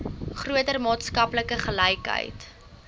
groter maatskaplike gelykheid